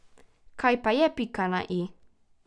Kaj pa je pika na i?